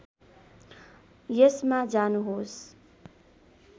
यसमा जानुहोस्